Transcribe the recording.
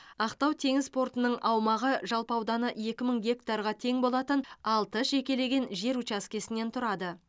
ақтау теңіз порты аумағы жалпы ауданы екі мың гектарға тең болатын алты жекелеген жер учаскесінен тұрады